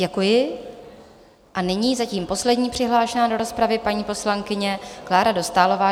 Děkuji a nyní zatím poslední přihlášená do rozpravy, paní poslankyně Klára Dostálová.